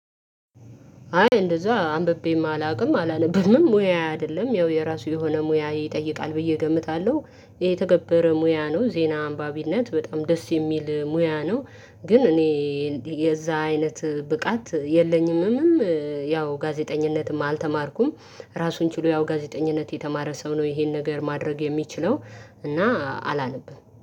አይ እንደዛ አንብቤም አላውቅም አላነብምም ሙያዬ አይደለም። ያው የራሱ የሆነ ሙያ ይጠይቃል ብዬ እገምታለሁ ይሄ የተከበረ ሙያ ነው ዜና አንባቢነት በጣም ደስ የሚል ሙያ ነው። ግን እኔ የዛ አይነት ብቃት የለኝምም ያው ጋዜጠኝነትም አልተማርኩም። ራሱን ችሎ ያው ጋዜጠኝነት የተማረ ሰው ነው ይሄን ነገር ማድረግ የሚችለው እና አላነብም